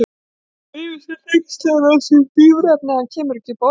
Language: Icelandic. Svo yfir sig hneykslaður á þessari bíræfni að hann kemur ekki upp orði.